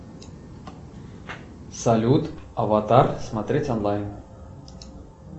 салют аватар смотреть онлайн